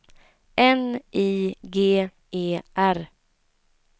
N I G E R